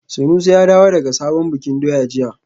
Sanusi ya dawo daga sabon bikin doya jiya